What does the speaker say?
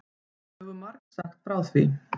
Við höfum margsagt frá því.